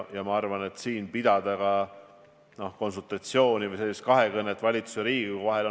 Ma arvan, et siin on hästi oluline pidada konsultatsiooni või kahekõnet valitsuse ja Riigikogu vahel.